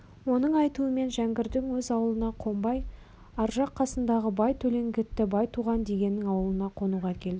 оның айтуымен жәңгірдің өз ауылына қонбай аржақ қасындағы бай төлеңгіті байтуған дегеннің ауылына қонуға келдік